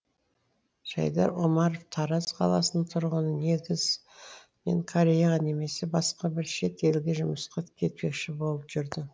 жайдар омаров тараз қаласының тұрғыны негіз мен кореяға немесе басқа бір шет елге жұмысқа кетпекші болып жүрдім